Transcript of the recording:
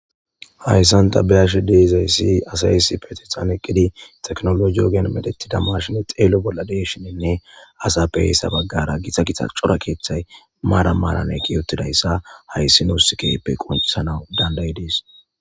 hayssanta beyashi deizay si asaysi petethan eqqidi teknolo yogen medetida mashine xeelo bolla deeshinenne asa be heyssa baggara githa gita cora keeththay maara maaraneki yottidayssa hayssi nuus keppe qoncisanau dandayi dees